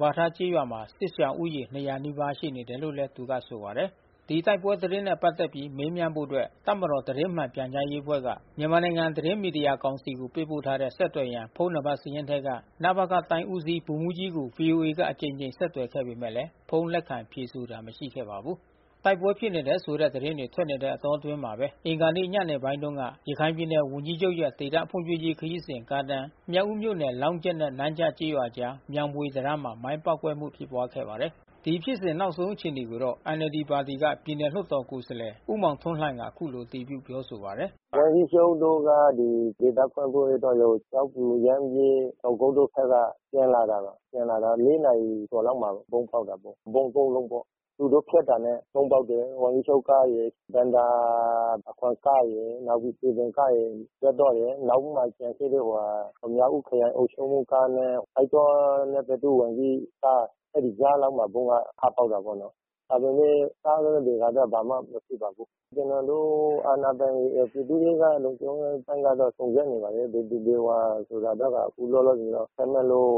ပါးထားကျေးရွာမှာ စစ်ရှောင်ဦးရေ နီးပါးရှိနေတယ်လို့လဲ သူကဆိုပါတယ်။ ဒီတိုက်ပွဲသတင်းတွေနဲ့ပတ်သက်ပြီး မေးမြန်းဖို့အတွက် တပ်မတော် သတင်းမှန်ပြန်ကြားရေးအဖွဲ့က မြန်မာနိုင်ငံ သတင်း မီဒီယာကောင်စီကို ပေးပို့ထားတဲ့ ဆက်သွယ်ရန် ဖုန်းနံပါတ်စာရင်းထဲက နပခ တိုင်းဦးစီး ဗိုလ်မှူးကြီးကို ဗွီအိုအေက အကြိမ်ကြိမ် ဆက်သွယ်ခဲ့ပေမယ့် ဖုန်းလက်ခံဖြေဆိုတာမရှိခဲ့ပါဘူး။ တိုက်ပွဲဖြစ်တယ်ဆိုတဲ့သတင်းတွေ ထွက်နေတဲ့အတောအတွင်းမှာပဲ အင်္ဂါနေ့ညနေပိုင်းတုန်းက ရခိုင်ပြည်နယ်ဝန်ကြီးချုပ်ရဲ့ ဒေသဖွံ့ဖြိုးရေးခရီးစဉ်ကားတန်း မြောက်ဦးမြို့နယ် လောင်းကြက် နဲ့နန်းကျကျေးရွာ အကြား မြောင်းဘွေတံတားမှာ မိုင်းပေါက်ကွဲမှုဖြစ်ပွါးခဲ့ပါတယ်။ ဒီဖြစ်စဉ်နောက်ဆုံးအခြေအနေကိုတော့ NLDပါတီက ပြည်နယ်လွှတ်တော်ကိုယ်စားလှယ် ဦးမောင်ထွန်းလှိုင်က အခုလို အတည်ပြု ပြောဆိုပါတယ်။ “ဝန်ကြီးချုပ်တို့က ဒေသဖွံ့ဖြိုးရေးအတွက်လို့ ကျောက်ဖြူ ရမ်းဗြဲ တောင်ကုတ်တို့ဖက်က ပြန်လာတာ။ ပြန်လာတော့ နာရီလောက်မှာဗုံးပေါက်တာပေါ့။ ဗုံး လုံးပေါ့။ သူတို့ဖြတ်တာနဲ့ဗုံးပေါက်တာပေါ့။ ဝန်ကြီးချုပ်ကားရယ် ဘဏ္ဍာခွန်ကားရယ် နောက်ပြီးစည်ပင်ကားရယ် ဖြတ်သွားတယ်။ နောက်မှာကျန်ရှိတဲ့ မြောက်ဦးခရိုင်အုပ်ချုပ်ရေးမှူးကားနဲ့ သစ်တောနဲ့သတ္တု ဝန်ကြီးကား အဲဒီကြားလောက်မှာ ဗုံးကထပေါက်တာပေါ့နော်။ ဒါပေမဲ့ကားထဲကလူတော့ဘာမှမဖြစ်ပါဘူး။ ကျွန်တော်တို့ အာဏာပိုင်တွေ ပြည်သူ့ရဲက လုံခြုံရေးအပိုင်းကစုံစမ်းနေပါတယ်။ ဘယ်သူဘယ်ဝါဆိုတာကတော့ အခုလော လောဆယ်ဆယ် ခန့်မှန်းလို့